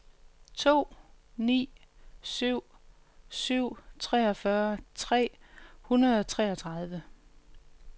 to ni syv syv treogfyrre tre hundrede og treogtredive